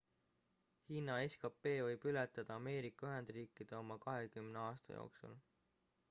hiina skp võib ületada ameerika ühendriikide oma kahekümne aasta jooksul